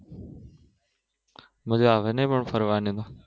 મજા આવે નહિ પણ ફરવાની